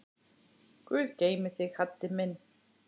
Guð geymi þig, Haddi minn.